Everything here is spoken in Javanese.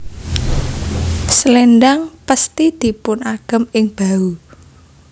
Selendhang pesthi dipun agem ing bahu